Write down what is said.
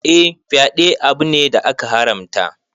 Eh, fyaɗe abu ne da aka haramta.